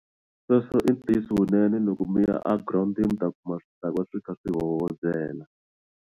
Sweswo i ntiyiso kunene loko mi ya a girawundini mi ta kuma swi dakwa swi kha swi hoyozela.